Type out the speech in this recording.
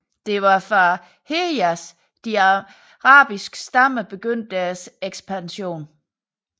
Det var fra Hejaz de arabiske stammer begyndte deres ekspansion